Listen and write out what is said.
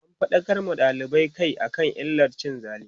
an faɗakar ma dalibai Kai akan illar cin zali